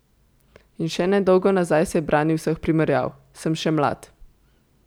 In še nedolgo nazaj se je branil vseh primerjav: 'Sem še mlad.